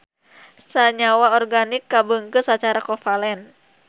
Sanyawa organik kabeungkeut sacara kovalen.